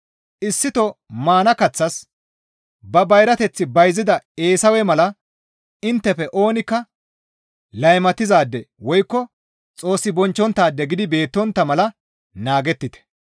Issito maana kaththas ba bayrateth bayzida Eesawe mala inttefe oonikka laymatizaade woykko Xoos bonchchonttaade gidi beettontta mala naagettite.